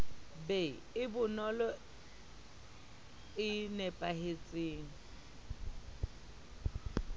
be e bonolo e napahetseng